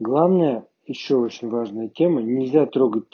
главное ещё очень важная тема нельзя трогать